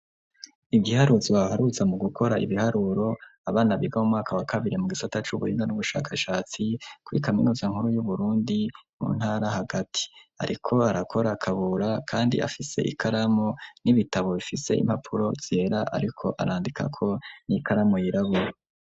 Igiharuzo aharuza mu gukora ibiharuro abana biga mu mwaka wa kabiri mu gisata c'ubuhiga n'ubushakashatsi kuri kaminuza nkuru yu Burundi mu ntara hagati ariko arakora . Kabura kandi afise ikaramu n'ibitabo bifise impapuro zera ariko arandika ko niikaramu yirabura.